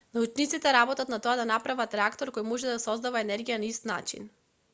научниците работат на тоа да направат реактор кој може да создава енергија на ист начин